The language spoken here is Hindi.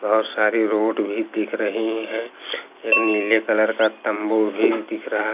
और सारी रोड भी दिख रही है एक नीले कलर का तंबू भी दिख रहा--